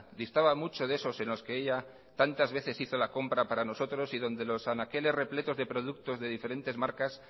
distaba mucho de esos en los que ella tantas veces hizo la compra para nosotros y donde los anaqueles repletos de productos de diferentes marcas